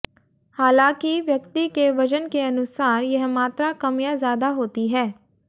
हालांकि व्यक्ति के वजन के अनुसार यह मात्रा कम या ज्यादा होती है